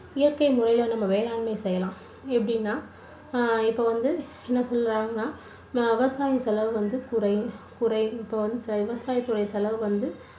இயற்கை முறைல நம்ம வேளாண்மை செய்யலாம் எப்படின்னா அஹ் இப்போ வந்து என்ன சொல்றாங்கன்னா விவசாய செலவு வந்து குறையும் குறையும் இப்போ வந்து விவசாய துறை செலவு வந்து